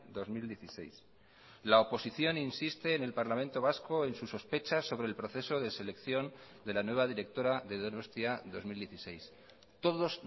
dos mil dieciséis la oposición insiste en el parlamento vasco en su sospecha sobre el proceso de selección de la nueva directora de donostia dos mil dieciséis todos